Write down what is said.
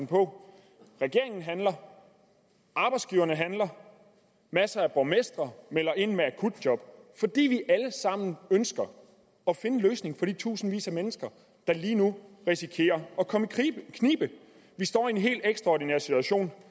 på regeringen handler arbejdsgiverne handler masser af borgmestre melder ind med akutjob fordi vi alle sammen ønsker at finde en løsning for de tusindvis af mennesker der lige nu risikerer at komme i knibe vi står i en helt ekstraordinær situation